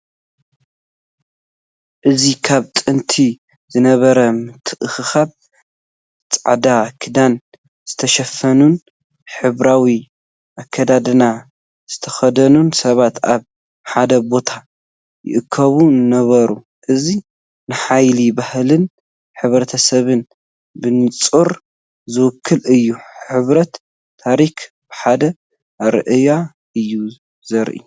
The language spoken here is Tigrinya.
እዚ ካብ ጥንቲ ዝነበረ ምትእኽኻብ፡ ጻዕዳ ክዳን ዝተሸፈኑን ሕብራዊ ኣከዳድና ዝተኸድኑን ሰባት ኣብ ሓደ ቦታ ይእከቡ ነበሩ። እዚ ንሓይሊ ባህልን ሕብረተሰብን ብንጹር ዝውክል እዩ፤ ሕመረት ታሪኽ ብሓደ ኣረኣእያ እዩ ዝረአ።